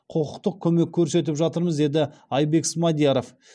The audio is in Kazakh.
құқықтық көмек көрсетіп жатырмыз деді айбек смадияров